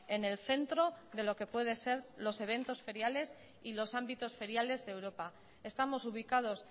en el centro de lo que puede ser los eventos feriales y los ámbitos feriales de europa estamos ubicados